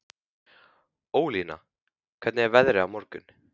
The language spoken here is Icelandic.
Ólína, hvernig er veðrið á morgun?